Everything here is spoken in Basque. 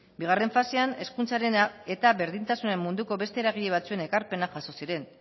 bigarren fasean hezkuntzaren eta berdintasunaren munduko beste eragile batzuen ekarpenak jaso ziren